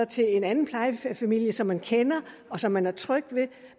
til en anden plejefamilie som man kender og som man er tryg ved